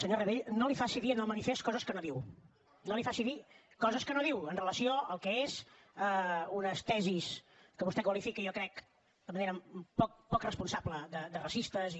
senyor rabell no li faci dir al manifest coses que no diu no li faci dir coses que no diu amb relació al que és unes tesis que vostè qualifica jo crec de manera poc responsable de racistes i